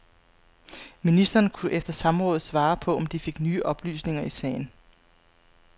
Ministeren, kunne efter samrådet svare på, om de fik nye oplysninger i sagen.